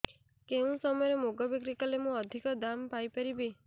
କେଉଁ ସମୟରେ ମୁଗ ବିକ୍ରି କଲେ ମୁଁ ଅଧିକ ଦାମ୍ ପାଇ ପାରିବି